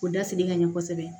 O dasiri ka ɲɛ kosɛbɛ